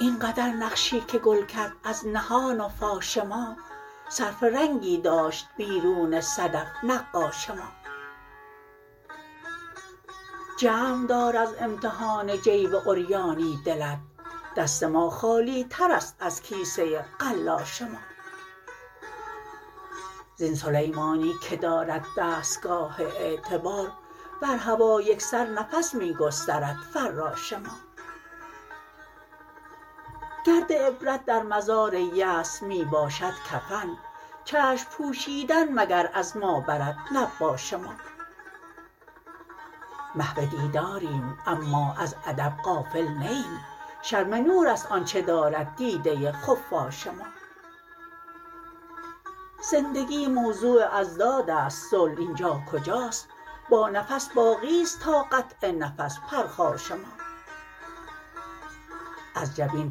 اینقدر نقشی که گل کرد از نهان و فاش ما صرف رنگی داشت بیرون صدف نقاش ما جمع دار از امتحان جیب عریانی دلت دست ما خالی ترست از کیسه قلا ش ما زین سلیمانی که دارد دستگاه اعتبار بر هوا یکسر نفس می گسترد فراش ما گرد عبرت در مزار یأس می باشد کفن چشم پوشیدن مگر از ما برد نباش ما محو دیداریم اما از ادب غافل نه ایم شرم نو رست آنچه دارد دیده خفاش ما زندگی موضوع اضدادست صلح اینجا کجاست با نفس باقیست تا قطع نفس پرخاش ما از جبین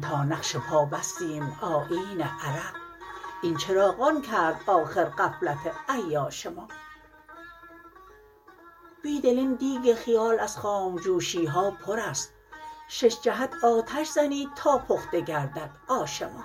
تا نقش پا بستیم آیین عرق این چراغان کرد آخر غفلت عیاش ما بیدل این دیگ خیال از خام جوشی ها پر است شش جهت آتش زنی تا پخته گردد آش ما